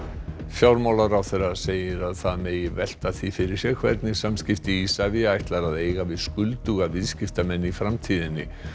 fjármálaráðherra segir að það megi velta því fyrir sér hvernig samskipti Isavia ætlar að eiga við skulduga viðskiptamenn í framtíðinni